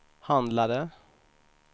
handlade